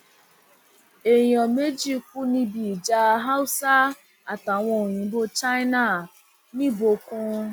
èèyàn méjì kú níbi ìjà haúsá àtàwọn òyìnbó china nìbókun